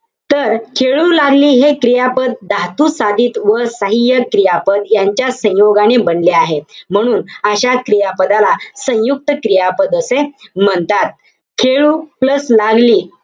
तर, खेळू लागली हे क्रियापद धातुसाधित व सहाय्यक क्रियापद यांच्या संयोगाने बनले आहे. म्हणून, अशा क्रियापदाला सयुंक्त क्रियापद असे म्हणतात. खेळू plus लागली,